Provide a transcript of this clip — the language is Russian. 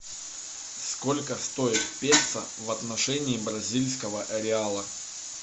сколько стоит песо в отношении бразильского реала